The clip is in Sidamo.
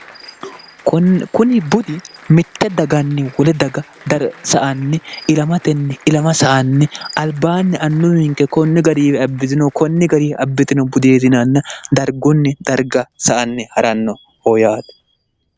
kuni budi mitte daganni wole daga darga anni ilamtenniilama sa anni albaanni annu minke konni gariifi abbitino konni gariifi abbitino budieetinaanna dargunni darga sa anni ha'ranno hoo yaate